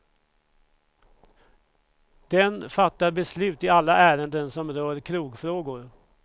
Den fattar beslut i alla ärenden, som rör krogfrågor.